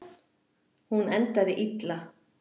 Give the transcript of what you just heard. Hún endaði illa.